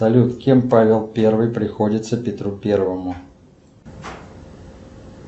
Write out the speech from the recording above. салют кем павел первый приходится петру первому